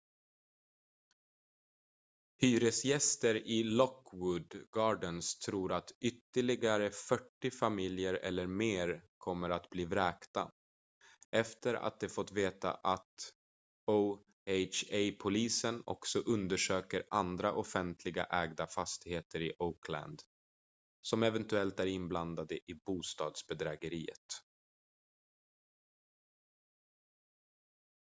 hyresgäster i lockwood gardens tror att ytterligare 40 familjer eller mer kommer att bli vräkta efter att de fått veta att oha-polisen också undersöker andra offentligt ägda fastigheter i oakland som eventuellt är inblandade i bostadsbedrägeriet